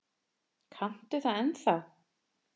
Kanntu það ennþá?